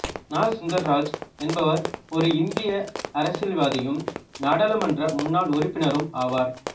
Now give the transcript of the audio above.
நா சுந்தர்ராஜ் என்பவர் ஒரு இந்திய அரசியல்வாதியும் நாடாளுமன்ற முன்னாள் உறுப்பினரும் ஆவார்